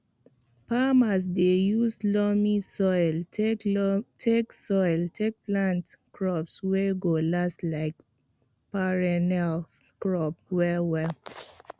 farmers dey use loamy soil take soil take plant crops wey go last like perennial crops well well